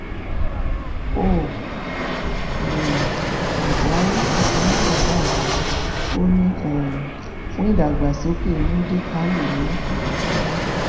ó um gúnṣúà tuntun gbopá àṣẹ ò ní um fún ìdàgbàsókè módékákè ní oyetola